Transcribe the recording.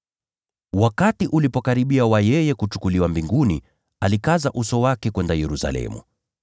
Wakati ulipokaribia wa yeye kuchukuliwa mbinguni, alikaza uso wake kwenda Yerusalemu.